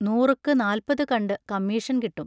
നൂറുക്കു നാല്പതു കണ്ടു കമ്മീഷൻ കിട്ടും.